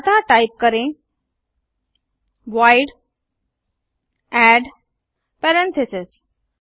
अतः टाइप करें void add parentheses